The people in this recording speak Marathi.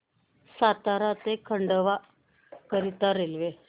सातारा ते खंडवा करीता रेल्वे